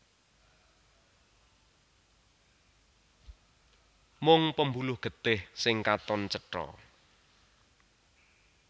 Mung pembuluh getih sing katon cetha